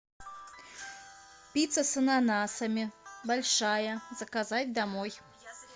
пицца с ананасами большая заказать домой